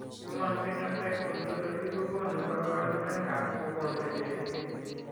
Human Phenotype Ontology kokonu kabarunoikab mogondo cherube.